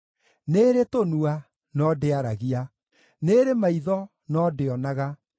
Nĩĩrĩ tũnua, no ndĩaragia, nĩĩrĩ maitho, no ndĩonaga;